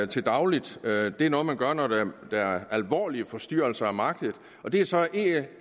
til daglig det er noget man gør når der er alvorlige forstyrrelser af markedet det er så